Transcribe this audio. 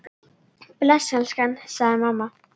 Bless elskan! sagði mamma.